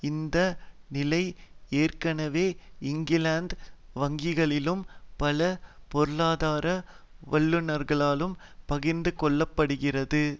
இந்த நிலை ஏற்கனவே இங்கிலாந்து வங்கியாலும் பல பொருளாதார வல்லுனர்களாகும் பகிர்ந்துகொள்ளப்படுகிறது